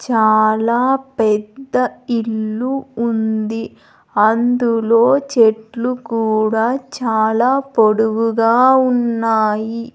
చాలా పెద్ద ఇల్లు ఉంది అందులో చెట్లు కూడా చాలా పొడువుగా ఉన్నాయి.